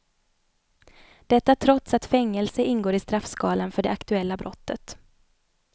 Detta trots att fängelse ingår i straffskalan för det aktuella brottet.